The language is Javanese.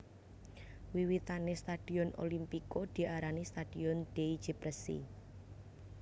Wiwitane stadion Olimpico diarani Stadion dei Cipressi